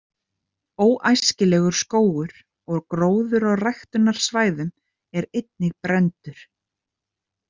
„Óæskilegur“ skógur og gróður á ræktunarsvæðum er einnig brenndur.